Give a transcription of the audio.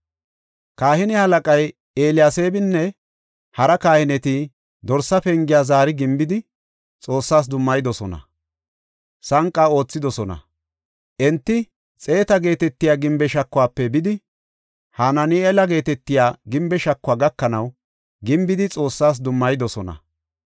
Kahine halaqay Eliyaseebinne hara kahineti Dorsa Pengiya zaari gimbidi Xoossas dummayidosona; sanqa aathidosona. Enti Xeeta geetetiya gimbe shakuwafe bidi Hanaani7eela geetetiya gimbe shakuwa gakanaw gimbidi Xoossas dummayidosona.